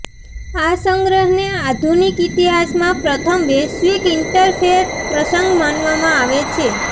આ સંગ્રહને આધુનિક ઇતિહાસમાં પ્રથમ વૈશ્વિક ઇન્ટરફેથ પ્રસંગ માનવામાં આવે છે